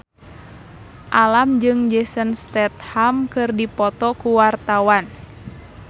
Alam jeung Jason Statham keur dipoto ku wartawan